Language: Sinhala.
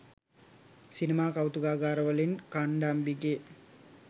සිනමා කෞතුකාගාරවලින් කණ්ඩම්බිගේ